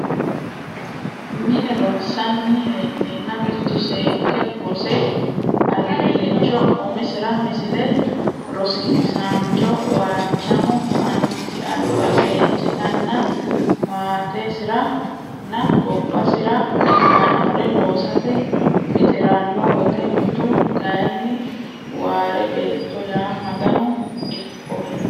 mine ronsanni hee neenna mitu seekke rose albiilliicho umisira Misile Rosiisaancho Waachamo annisi alba seejjitanna maatesira nna gobbasi ra ikkannore loosate mixi ranno wote mitu kayinni Waare Beetto ya Maganu ikkohe !